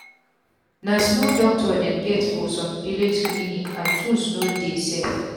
na small doctor dem get for sum village clinic and tools no too dey sef